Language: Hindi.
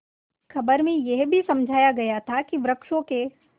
खबर में यह भी समझाया गया था कि वृक्षों के